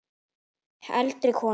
Heldri konur